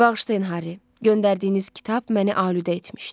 Bağışlayın Harri, göndərdiyiniz kitab məni alüdə etmişdi.